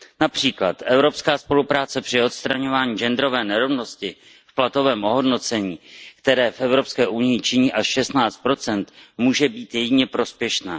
Například evropská spolupráce při odstraňování genderové nerovnosti v platovém ohodnocení, které v Evropské unii činí až 16 může být jedině prospěšná.